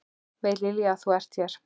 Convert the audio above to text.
Veit Lilja að þú ert hér?